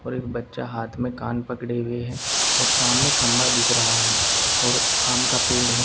और एक बच्चा हाथ में कान पकड़े हुए हैं और सामने खम्मा दिख रहा है और आम का पेड़ है।